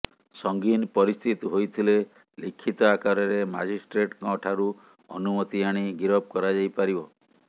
ସଙ୍ଗୀନ ପରିସ୍ଥିତି ହୋଇଥିଲେ ଲିଖିତ ଆକାରରେ ମାଜଷ୍ଟ୍ରେଟଙ୍କ ଠାରୁ ଅନୁମତି ଆଣି ଗିରଫ କରାଯାଇପାରିବ